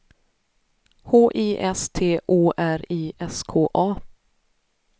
H I S T O R I S K A